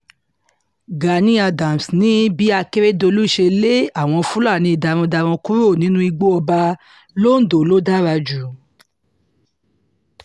gani adams ni bí akérèdọ́lù ṣe lé àwọn fúlàní darandaran kúrò nínú igbó ọba londo ló dára jù